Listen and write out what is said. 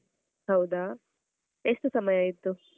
ಹೌದಾ! ಎಷ್ಟು ಸಮಯ ಆಯ್ತು?